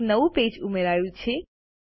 એક નવું પેજ ઉમેરાયું છે